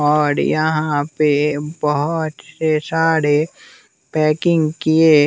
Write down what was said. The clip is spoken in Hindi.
और यहाँ पे बहुत से सारे पैकिंग किए--